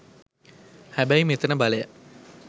හැබැයි මෙතන බලය